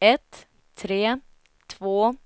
ett tre två